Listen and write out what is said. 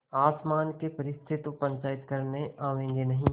आसमान के फरिश्ते तो पंचायत करने आवेंगे नहीं